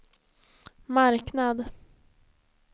marknad